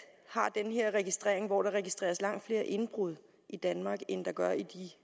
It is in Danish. har den her registrering hvor der registreres langt flere indbrud i danmark end der gør i